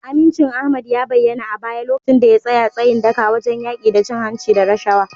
Amincin Ahmad ya bayyana a baya lokacin da ya tsaya tsayin daka wajen yaki da cin hanci da rashawa.